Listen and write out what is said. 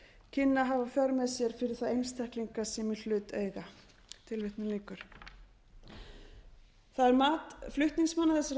kynni að hafa í för með sér fyrir þá einstaklinga sem í hlut eiga það er mat flutningsmanna þessarar tillögu